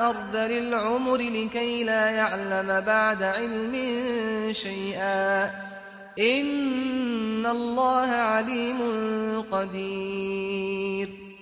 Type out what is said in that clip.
أَرْذَلِ الْعُمُرِ لِكَيْ لَا يَعْلَمَ بَعْدَ عِلْمٍ شَيْئًا ۚ إِنَّ اللَّهَ عَلِيمٌ قَدِيرٌ